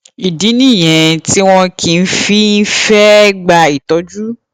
ìdí nìyẹn tí wọn kì í fi í fẹ gba ìtọjú